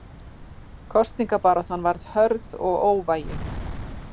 Kosningabaráttan varð hörð og óvægin.